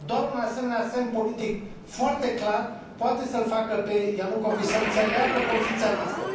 Doar un asemenea semn politic foarte clar poate să îl facă pe Ianukovici să înțeleagă poziția noastră.